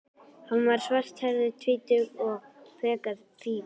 Hann var svarthærður, um tvítugt, frekar fríður.